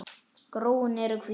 Gróin eru hvít.